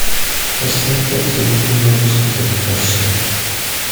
поставь картину не могу сказать прощай